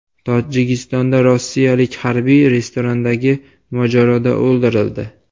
Tojikistonda rossiyalik harbiy restorandagi mojaroda o‘ldirildi.